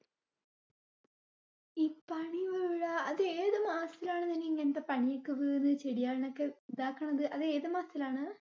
ഈ പനി വീഴാ അത് ഏത് മാസത്തിലാണ് ഇങ്ങനത്തെ പനിയൊക്കെ വീണ് ചെടി ഒക്കെ താക്കണത്? അത് ഏത് മാസത്തിലാണ്?